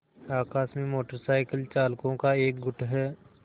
आकाश में motor cycle चालकों का एक गुट है